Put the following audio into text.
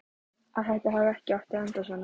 Að þetta hafi ekki átt að enda svona.